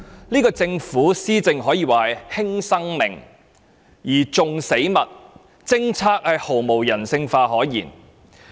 這個政府施政可說是"輕生命而重死物"，政策毫無人性可言。